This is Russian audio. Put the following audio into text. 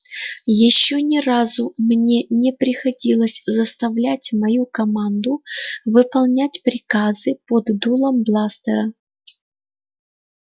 ещё ни разу мне не приходилось заставлять мою команду выполнять приказы под дулом бластера